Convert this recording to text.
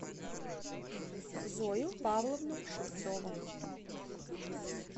зою павловну шевцову